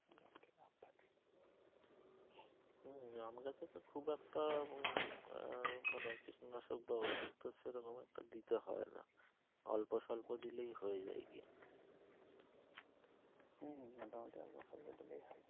হম আমার কাছে তো খুব একটা মানে কীটনাশক বা ওষুধ তো সেরকম একটা দিতে হয় নাহ অল্প স্পল্প দিলেই হয়ে যা গিয়ে